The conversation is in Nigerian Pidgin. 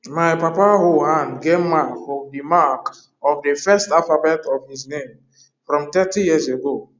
ma papa hoe hand get mark of the mark of the first alphabet of his name from 30yrs ago